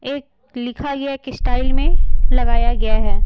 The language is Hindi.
एक लिखा गया एक स्टाइल में लगाया गया है।